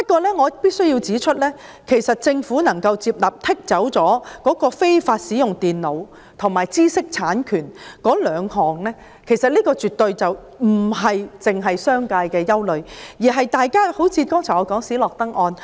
不過，我必須指出，政府接納剔除"非法使用電腦"及"知識產權"這兩項罪類，其實這兩項罪類絕對不是商界的憂慮，反而是我剛才提到的斯諾登案。